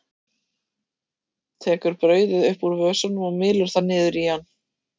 Tekur brauðið upp úr vösunum og mylur það niður í hann.